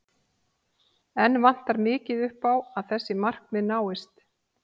Enn vantar mikið upp á að þessi markmið náist.